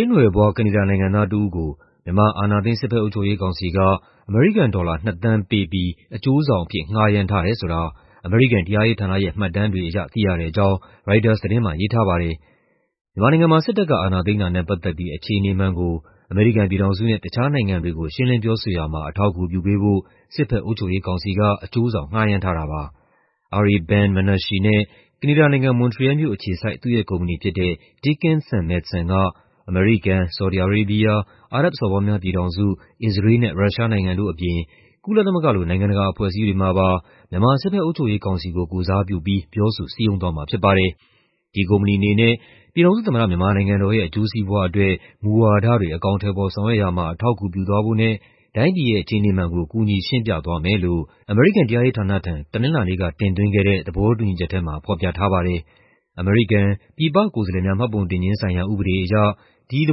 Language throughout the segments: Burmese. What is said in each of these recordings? ေးလ်နွယ်ဖွား ကနေဒါနိုင်ငံသားတစ်ဦးကို မြန်မာ အာဏာသိမ်း စစ်ဘက်အုပ်ချုပ်ရေးကောင်စီက အမေရိကန် ဒေါ်လာ ၂,၀၀၀,၀၀၀ ပေးပြီး အကျိုးဆောင်အဖြစ် ငှားရမ်းထားတယ်ဆိုတာ အမေရိကန် တရားရေးဌာနရဲ့ မှတ်တမ်းတွေအရ သိရတဲ့အကြောင်း ရိုက်တာသတင်းမှာ ရေးထားပါတယ်။ မြန်မာနိုင်ငံမှာ စစ်တပ်က အာဏာသိမ်းတာနဲ့ပတ်သက်ပြီး အခြေအနေမှန်ကို အမေရိကန်ပြည်ထောင်စုနဲ့ တခြားနိုင်ငံတွေကို ရှင်းလင်းပြောဆိုရာမှာ အထောက်အကူပြုပေးဖို့ စစ်ဘက်အုပ်ချုပ်ရေးကောင်စီက အကျိုးဆောင် ငှားရမ်းထားတာပါ။ Ari Ben-Menashe နဲ့ ကနေဒါနိုင်ငံ၊ မွန်ထရီယယ်လ်မြို့အခြေစိုက် သူ့ရဲ့ကုမ္ပဏီဖြစ်တဲ့ Dickens & Madson က အမေရိကန်၊ ဆော်ဒီ အာရေးဘီးယား၊ အာရပ်ဘ်စော်ဘွားများပြည်ထောင်စု၊ အစ္စရေးလ်နဲ့ ရုရှားနိုင်ငံတို့အပြင် ကုလသမဂ္ဂလို နိုင်ငံတကာအဖွဲ့အစည်းတွေမှာပါမြန်မာ စစ်ဘက်အုပ်ချုပ်ရေးကောင်စီကို ကိုယ်စားပြုပြီး ပြောဆို စည်းရုံးသွားမှာဖြစ်ပါတယ်။ ဒီကုမ္ပဏီအနေနဲ့ "ပြည်ထောင်စုသမ္မတ မြန်မာနိုင်ငံတော်ရဲ့အကျိုးစီးပွားအတွက် မူဝါဒတွေ အကောင်အထည်ဖော် ဆောင်ရွက်ရာမှာ အထောက်အကူပြုသွားဖို့နဲ့ တိုင်းပြည်ရဲ့ အခြေအနေမှန်ကို ကူညီရှင်းပြသွားမယ်။" လို့ အမေရိကန် တရားရေးဌာနထံ တနင်္လာနေ့က တင်သွင်းခဲ့တဲ့ သဘောတူညီချက်ထဲမှာ ဖော်ပြထားပါတယ်။ အမေရိကန် ပြည်ပကိုယ်စားလှယ်များ မှတ်ပုံတင်ခြင်းဆိုင်ရာ ဥပဒေအရ ဒီသ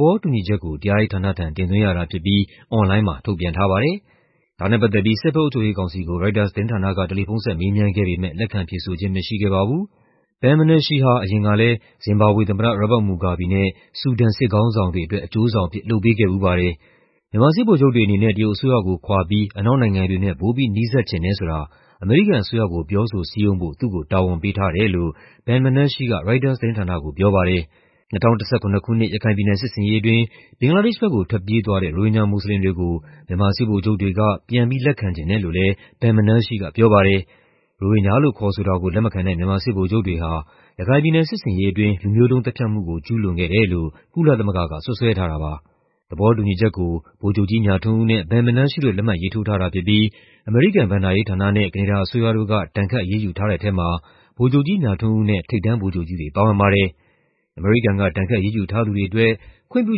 ဘောတူညီချက်ကို တရားရေးဌာနထံ တင်သွင်းရတာဖြစ်ပြီး အွန်လိုင်းမှာ ထုတ်ပြန်ထားပါတယ်။ ဒါနဲ့ပတ်သက်ပြီး စစ်ဘက်အုပ်ချုပ်ရေးကောင်စီကို ရိုက်တာသတင်းဌာနက တယ်လီဖုန်းဆက် မေးမြန်းခဲ့ပေမဲ့ လက်ခံဖြေဆိုခြင်းမရှိခဲ့ပါဘူး။ Ben-Meashe ဟာ အရင်ကလည်း ဇင်ဘာဘွေသမ္မတ Robert Mugabe နဲ့ ဆူဒန် စစ်ခေါင်းဆောင်တွေအတွက် အကျိုးဆောင်အဖြစ် လုပ်ပေးခဲ့ဖူးပါတယ်။ မြန်မာစစ်ဗိုလ်ချုပ်တွေအနေနဲ့ တရုတ်အစိုးရကို ခွာပြီး အနောက်နိုင်ငံတွေနဲ့ ပိုပြီးနီးစပ်ချင်တယ်ဆိုတာ အမေရိကန်အစိုးရကို ပြောဆိုစည်းရုံးဖို့ သူ့ကိုတာဝန်ပေးထားတယ်လို့ Ben-Menashe က ရိုက်တာသတင်းဌာနကိုပြောပါတယ်။ ၂၀၁၇ ခုနှစ် ရခိုင်ပြည်နယ် စစ်ဆင်ရေးအတွင်း ဘင်္ဂလားဒေ့ရှ်ဘက်ကို ထွက်ပြေးသွားတဲ့ ရိုဟင်ဂျာ မွတ်ဆလင်တွေကို မြန်မာစစ်ဗိုလ်ချုပ်တွေက ပြန်ပြီးလက်ခံချင်တယ်လို့လည်း Ben-Menashe ကပြောပါတယ်။ ရိုဟင်ဂျာလို့ခေါ်ဆိုတာကို လက်မခံတဲ့ မြန်မာစစ်ဗိုလ်ချုပ်တွေဟာ ရခိုင်ပြည်နယ်စစ်ဆင်ရေးအတွင်း လူမျိုးတုံးသတ်ဖြတ်မှုကို ကျူးလွန်ခဲ့တယ်လို ကုလသမဂ္ဂက စွပ်စွဲထားတာပါ။ သဘောတူညီချက်ကို ဗိုလ်ချုပ်ကြီးမြထွန်းဦးနဲ့ Ben-Menashe တို့ လက်မှတ်ရေးထိုးထားတာဖြစ်ပြီး အမေရိကန် ဘဏ္ဍာရေးဌာနနဲ့ ကနေဒါအစိုးရတို့က ဒဏ်ခတ်အရေးယူထားတဲ့ထဲမှာ ဗိုလ်ချုပ်ကြီးမြထွန်းဦးနဲ့ ထိပ်တန်း ဗိုလ်ချုပ်ကြီးတွေ ပါဝင်ပါတယ်။ အမေရိကန်က ဒဏ်ခတ်အရေးယူထားသူတွေအတွက် ခွင့်ပြု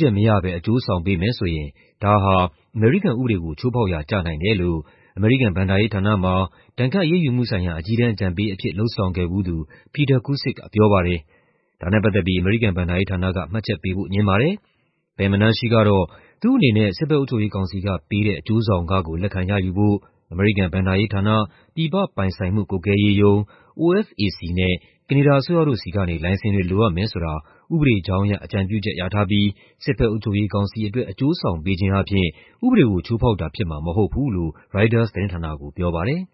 ချက်မရဘဲ အကျိုးဆောင်ပေးမယ်ဆိုရင် ဒါဟာ အမေရိကန်ဥပဒေကို ချိုးဖောက်ရာကျနိုင်တယ်လို့ အမေရိကန် ဘဏ္ဍာရေးဌာနမှာ ဒဏ်ခတ်အရေးယူမှုဆိုင်ရာ အကြီးတန်းအကြံပေးအဖြစ် လုပ်ဆောင်ခဲ့ဖူးသူ Peter Kucik ကပြောပါတယ်။ ဒါနဲ့ပတ်သက်ပြီး အမေရိကန်ဘဏ္ဍာရေးဌာနက မှတ်ချက်ပေးဖို့ ငြင်းပါတယ်။ Ben-Menashe ကတော့ သူ့အနေနဲ့ စစ်ဘက်အုပ်ချုပ်ရေးကောင်စီကပေးတဲ့ အကျိုးဆောင်ခကို လက်ခံရယူဖို့ အမေရိကန်ဘဏ္ဍာရေးဌာန၊ ပြည်ပပိုင်ဆိုင်မှုကွပ်ကွဲရေးရုံး (OFAC) နဲ့ ကနေဒါအစိုးရတို့ဆီကနေ လိုင်စင်တွေ လိုအပ်မယ်ဆိုတာ ဥပဒေကြောင်းအရ အကြံပြုချက်ရထားပြီး စစ်ဘက်အုပ်ချုပ်ရေးကောင်စီအတွက် အကျိုးဆောင်ပေးခြင်းအားဖြင့် ဥပဒေကို ချိုးဖောက်တာဖြစ်မှာ မဟုတ်ဘူးလို့ ရိုက်တာသတင်းဌာနကိုပြောပါတယ်။